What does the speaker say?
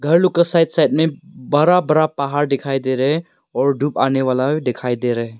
घर लोग का साइड साइड में बरा बरा पहाड़ दिखाई दे रहा है और धूप आने वाला दिखाई दे रहा है।